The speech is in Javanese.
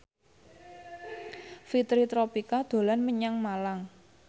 Fitri Tropika dolan menyang Malang